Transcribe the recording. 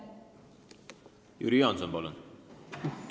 Jüri Jaanson, palun!